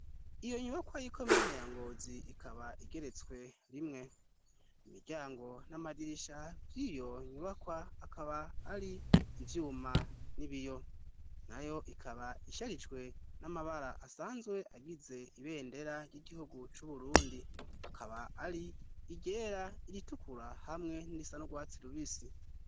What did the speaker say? Iyonyubakwa y'ikomine ya ngozi ikaba igeretswe rimwe, imiryango n'amaririsha vy'iyonyubakwa akaba ar'ivyuma n'ibiyo nayo ikaba isharijwe n'amabara asanzwe agize ibendera ry'igihugu c'uburundi akaba ar'iryera, iritukura hamwe n'irisa n'urwatsi rubisi.